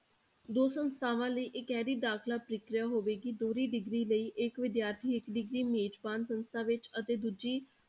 ਦੋ ਸੰਸਥਾਵਾਂ ਲਈ ਇਕਹਰੀ ਦਾਖਲਾ ਪ੍ਰਕਿਰਿਆ ਹੋਵੇਗੀ, ਦੋਹਰੀ degree ਲਈ ਇੱਕ ਵਿਦਿਆਰਥੀ ਇੱਕ degree ਮੇਜ਼ਬਾਨ ਸੰਸਥਾ ਵਿੱਚ ਅਤੇ ਦੂਜੀ